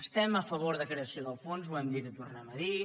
estem a favor de creació del fons ho hem dit i ho tornem a dir